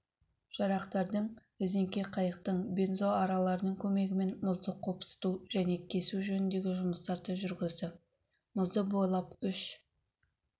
жарақтардың резеңке қайықтың бензоаралардың көмегімен мұзды қопсыту және кесу жөніндегі жұмыстарды жүргізді мұзды бойлап үш